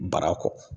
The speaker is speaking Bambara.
Bara kɔ